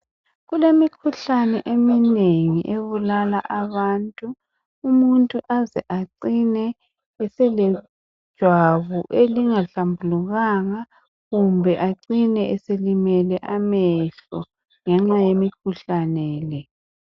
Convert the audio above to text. Kuldmikhuhlane eminengi ebulala abantu, umuntu azeacine eselejwabu elingahlambulukanga kumbe acine selimele amehlo ngenxa yemikhuhlane le.